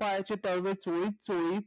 पायाची तळवे चोळून चोळून